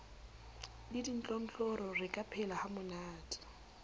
le ditlontlollo re ka phelahamonate